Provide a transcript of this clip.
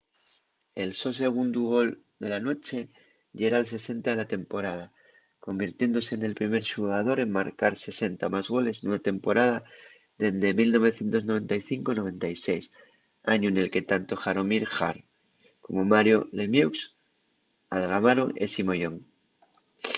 el so segundu gol de la nueche yera’l 60 de la temporada convirtiéndose nel primer xugador en marcar 60 o más goles nuna temporada dende 1995-96 añu nel que tanto jaromir jagr como mario lemieux algamaron esi moyón